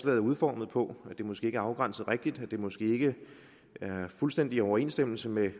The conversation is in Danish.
er udformet på at det måske ikke er afgrænset rigtigt at det måske ikke er fuldstændig i overensstemmelse med